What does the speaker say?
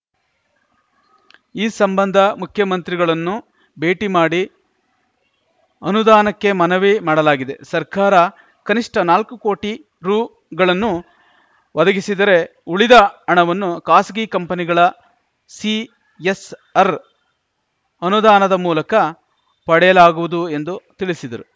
ಈ ಸಂಬಂಧ ಮುಖ್ಯಮಂತ್ರಿಗಳನ್ನು ಭೇಟಿ ಮಾಡಿ ಅನುದಾನಕ್ಕೆ ಮನವಿ ಮಾಡಲಾಗಿದೆ ಸರ್ಕಾರ ಕನಿಷ್ಠ ನಾಲ್ಕು ಕೋಟಿ ರುಗಳನ್ನು ಒದಗಿಸಿದರೆ ಉಳಿದ ಅಣವನ್ನು ಖಾಸಗಿ ಕಂಪನಿಗಳ ಸಿಎಸ್‌ಆರ್‌ ಅನುದಾನದ ಮೂಲಕ ಪಡೆಯಲಾಗುವುದು ಎಂದು ತಿಳಿಸಿದರು